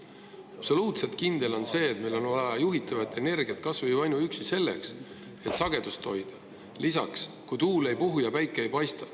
On absoluutselt kindel, et meil on vaja juhitavat energiat kas või ainuüksi selleks, et sagedust hoida, ja lisaks ajaks, kui tuul ei puhu ja päike ei paista.